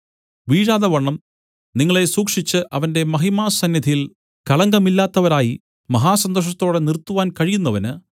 വീഴാതവണ്ണം നിങ്ങളെ സൂക്ഷിച്ച് അവന്റെ മഹിമാസന്നിധിയിൽ കളങ്കമില്ലാത്തവരായി മഹാസന്തോഷത്തോടെ നിർത്തുവാൻ കഴിയുന്നവന്